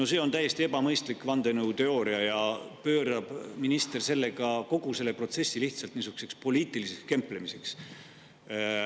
No see on täiesti ebamõistlik vandenõuteooria ja minister pöörab sellega kogu protsessi lihtsalt poliitiliseks kemplemiseks.